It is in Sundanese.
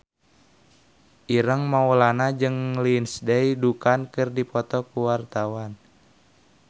Ireng Maulana jeung Lindsay Ducan keur dipoto ku wartawan